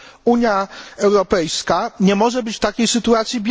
Unia Europejska nie może być bierna w takiej sytuacji.